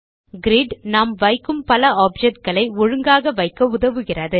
grid நாம் வைக்கும் பல Objectகளை ஒழுங்காக வைக்க உதவுகிறது